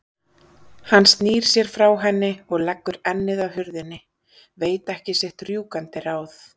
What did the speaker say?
Hann snýr sér frá henni og leggur ennið að hurðinni, veit ekki sitt rjúkandi ráð.